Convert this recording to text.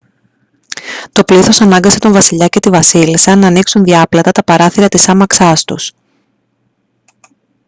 το πλήθος ανάγκασε τον βασιλιά και τη βασίλισσα να ανοίξουν διάπλατα τα παράθυρα της άμαξάς τους